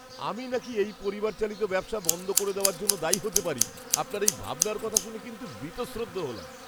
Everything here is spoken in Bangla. আমি নাকি এই পরিবার চালিত ব্যবসা বন্ধ করে দেওয়ার জন্য দায়ী হতে পারি, আপনার এই ভাবনার কথা শুনে কিন্তু বীতশ্রদ্ধ হলাম।